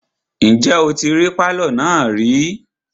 Ǹjẹ́ o tí rí pálọ̀ náà rí?